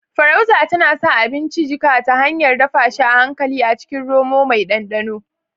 Farauta tana sa abinci jika ta hanyar dafa shi a hankali a cikin romo mai ɗanɗano